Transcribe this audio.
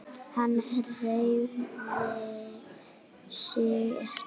Hann hreyfir sig ekki.